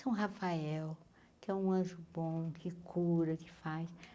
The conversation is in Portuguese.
São Rafael, que é um anjo bom, que cura, que faz.